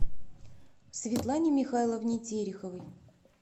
светлане михайловне тереховой